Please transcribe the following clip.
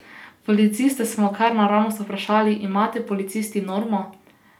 Policiste smo kar naravnost vprašali: "Imate policisti normo?